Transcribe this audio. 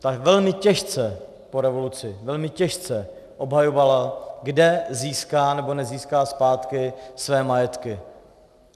Ta velmi těžce po revoluci, velmi těžce, obhajovala, kde získá nebo nezíská zpátky své majetky.